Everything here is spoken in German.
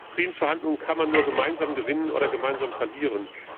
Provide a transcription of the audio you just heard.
Friedensverhandlungen kann man nur gemeinsam gewinnen oder gemeinsam verlieren.